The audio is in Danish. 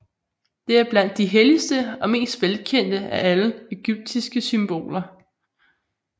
Det er blandt de helligste og mest velkendte af alle egyptiske symboler